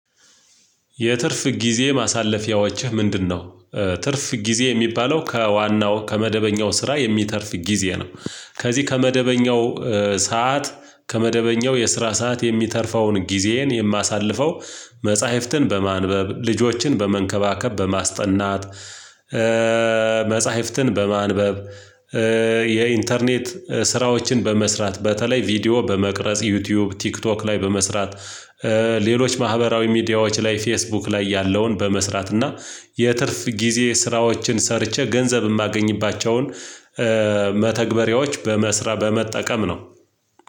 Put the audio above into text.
የትርፍ ጊዜ ማሳለፊያዎችህ ምንድነው? ትርፍ ጊዜ የሚባለው ከዋናው፣ ከመደበኛው ስራ የሚተርፍ ጊዜ ነው። ከዚህ፣ ከመደበኛው ሰዓት፣ ከመደበኛው የስራ ሰዓት የሚተርፈውን ጊዜዬን የማሳልፈው መጽሐፍትን በማንበብ፣ ልጆችን በመንከባከብ፣ በማስጠናት፣ ኤ መጽሐፍትን በማንበብ፣ ኤ የኢንተርኔት ስራዎችን በመስራት፣ በተለይ ቪዲዮ በመቅረጽ፣ ዩቲዩብ ቲክቶክ ላይ በመስራት፣ ኤ ሌሎች ማህበራዊ ሚዲያዎች ላይ፣ ፌስቡክ ላይ ያለውን በመስራት፣ እና የትርፍ ጊዜ ስራዎችን ሰርቼ፣ ገንዘብ የማገኝባቸውን፣ ኤ መተግበሪያዎች በመስራ፣ በመጠቀም ነው።